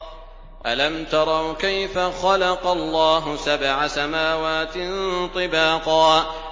أَلَمْ تَرَوْا كَيْفَ خَلَقَ اللَّهُ سَبْعَ سَمَاوَاتٍ طِبَاقًا